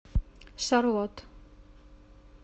шарлот